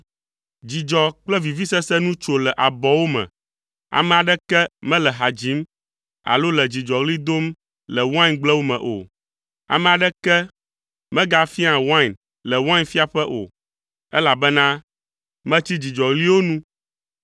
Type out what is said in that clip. Dzidzɔ kple vivisese nu tso le abɔwo me, ame aɖeke mele ha dzim alo le dzidzɔɣli dom le waingblewo me o, ame aɖeke megafiaa wain le wainfiaƒe o, elabena metsi dzidzɔɣliwo nu.